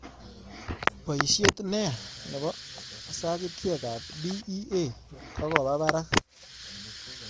Boishet neyaa nebo sagitekab d.e.a kogoba parak